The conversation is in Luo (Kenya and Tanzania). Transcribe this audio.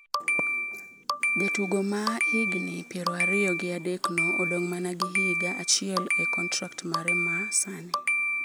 Jatugo ma ja higni piero ariyo gi adekno odong’ mana gi higa achiel e kontrak mare ma sani.